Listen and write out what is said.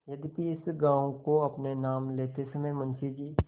यद्यपि इस गॉँव को अपने नाम लेते समय मुंशी जी